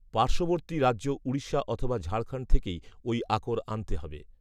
পার্শ্ববর্তী রাজ্য উড়িষ্যা অথবা ঝাড়খণ্ড থেকেই ওই আকর আনতে হবে